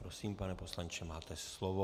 Prosím, pane poslanče, máte slovo.